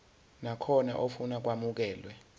nakhona ofuna ukwamukelwa